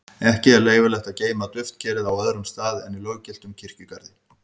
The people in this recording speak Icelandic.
ekki er leyfilegt að geyma duftkerið á öðrum stað en í löggiltum kirkjugarði